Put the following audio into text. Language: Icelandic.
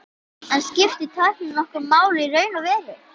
En skiptir tæknin nokkru máli í raun og veru?